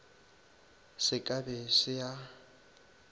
se ka be se a